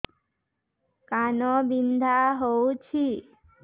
କାନ ବିନ୍ଧା ହଉଛି